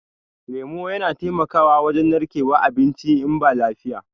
lemu Yana taimako wajen narkewan abinci in ba lafiya.